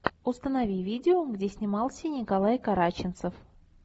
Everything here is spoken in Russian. установи видео где снимался николай караченцов